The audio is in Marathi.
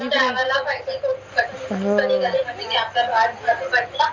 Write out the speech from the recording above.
जायला पाहिजे